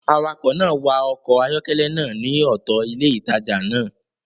Awakọ̀ náà wa ọkọ̀ ayọ́kẹ́lẹ́ náà ní ọ̀tọ̀ ilé ìtajà náà